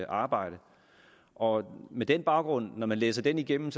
arbejde og med den baggrund når man læser den igennem